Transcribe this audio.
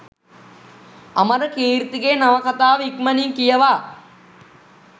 අමරකීර්තිගේ නවකතාව ඉක්මණින් කියවා